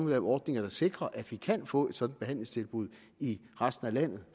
lave ordninger der sikrer at vi kan få et sådant behandlingstilbud i resten af landet